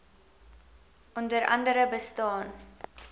onder andere bestaan